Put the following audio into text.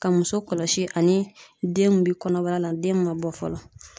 Ka muso kɔlɔsi ani den mun bi kɔnɔbara la den min ma bɔ fɔlɔ